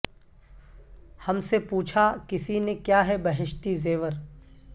ہم سے پوچھا کسی نے کیا ہے بہشتی زیور